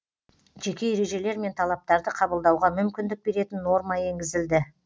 жеке ережелер мен талаптарды қабылдауға мүмкіндік беретін норма енгізілді